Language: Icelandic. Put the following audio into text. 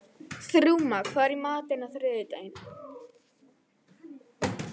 Þrúðmar, hvað er í matinn á þriðjudaginn?